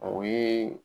O ye